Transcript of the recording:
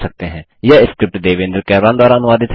यह स्क्रिप्ट देवेन्द्र कैरवान द्वारा अनुवादित है